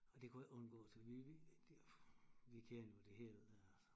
Og det kunne ikke undgås vi vi vi kender jo det hele dér